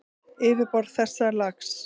Yfirborð þessa lags